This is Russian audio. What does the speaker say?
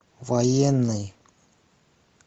военный